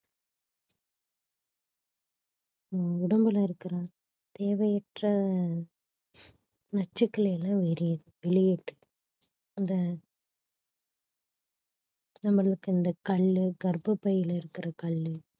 உடம்புல இருக்கிற தேவையற்ற நச்சுக்களை எல்லாம் வெளியே~ வெளியேற்றி அந்த நம்மளுக்கு இந்த கல்லு கர்ப்பப்பைய்யில இருக்கிற கல்லு